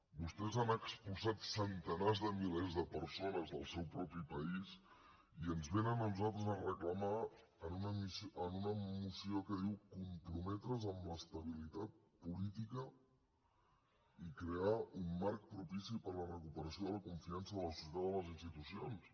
vostès han expulsat centenars de milers de persones del seu propi país i ens vénen a nosaltres a reclamar en una moció que diu comprometre’s amb l’estabilitat política i crear un marc propici per a la recuperació de la confiança de la societat amb les institucions